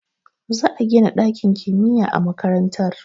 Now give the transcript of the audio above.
Za a gina dakin kimiyya a makarantar